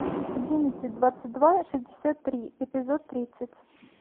одиннадцать двадцать два шестьдесят три эпизод тридцать